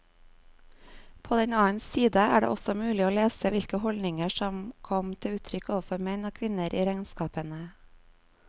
På den annen side er det også mulig å lese hvilke holdninger som kom til uttrykk overfor menn og kvinner i regnskapene.